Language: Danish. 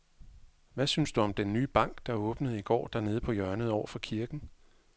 Hvad synes du om den nye bank, der åbnede i går dernede på hjørnet over for kirken?